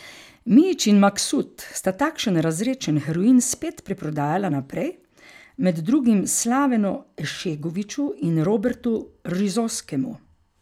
Mijić in Maksut sta takšen razredčen heroin spet preprodajala naprej, med drugim Slavenu Ešegoviću in Robertu Rizoskemu.